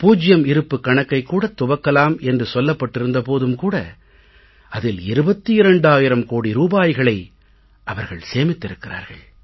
பூஜ்யம் இருப்புக் கணக்கைக் கூடத் துவக்கலாம் என்று சொல்லப்பட்டிருந்த போதும் கூட அதில் 22000 கோடி ரூபாய்களை அவர்கள் சேமித்திருக்கிறார்கள்